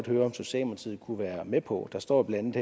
høre om socialdemokratiet kunne være med på der står blandt